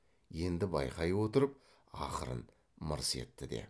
енді байқай отырып ақырын мырс етті де